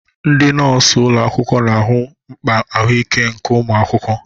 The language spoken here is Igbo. Ndị nọọsụ ụlọ akwụkwọ na-ahụ mkpa ahụike nke ụmụ akwụkwọ.